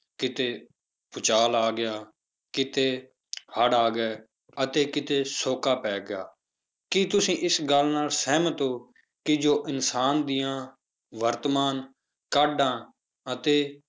ਕਿਤੇ ਭੂਚਾਲ ਆ ਗਿਆ, ਕਿਤੇ ਹੜ੍ਹ ਆ ਗਏ ਤੇ ਕਿਤੇ ਸ਼ੌਕਾ ਪੈ ਗਿਆ, ਕੀ ਤੁਸੀਂ ਇਸ ਗੱਲ ਨਾਲ ਸਹਿਮਤ ਹੋ ਕਿ ਜੋ ਇਨਸਾਨ ਦੀਆਂ ਵਰਤਮਾਨ ਕਾਢਾਂ ਅਤੇ